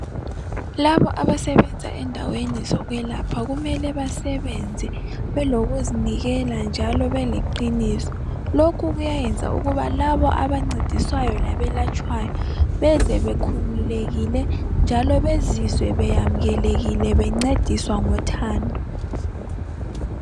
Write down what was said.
Labo abasebenza endaweni zokwelapha kumele basebenze belokuzinikela njalo beleqiniso. Lokhu kuyayenza ukuba labo abancediswayo labelatshwayo beze bekhululekile njalo bezizwe beyamukelekile bencediswa ngothando.